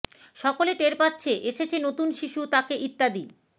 সকলে টের পাচ্ছে এসেছে নতুন শিশু তাকে ইত্যাদি